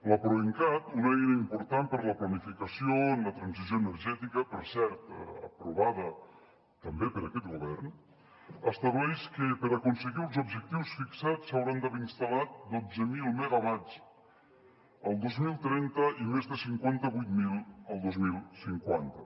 la proencat una eina important per a la planificació en la transició energètica per cert aprovada també per aquest govern estableix que per aconseguir els objectius fixats s’hauran d’haver instal·lat dotze mil megawatts el dos mil trenta i més de cinquanta vuit mil el dos mil cinquanta